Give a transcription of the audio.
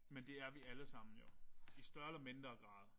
Men det er jo alle sammen jo. I større eller mindre grad